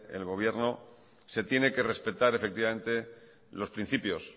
el gobierno se tiene que respetar los principios